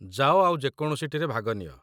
ଯାଅ ଆଉ ଯେ କୌଣସିଟିରେ ଭାଗ ନିଅ